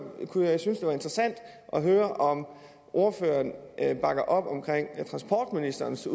interessant at høre om ordføreren bakker op om transportministerens